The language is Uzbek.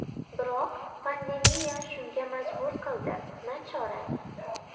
Biroq pandemiya shunga majbur qildi, nachora.